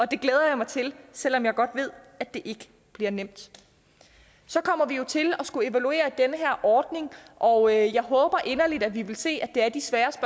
det glæder jeg mig til selv om jeg godt ved at det ikke bliver nemt så kommer vi jo til at skulle evaluere den her ordning og jeg håber inderligt at vi vil se at det er de svære